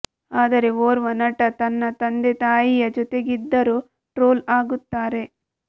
ಆದರೆ ಓರ್ವ ನಟ ತನ್ನ ತಂದೆ ತಾಯಿಯ ಜೊತೆಗಿದ್ದರೂ ಟ್ರೋಲ್ ಆಗುತ್ತಾರೆ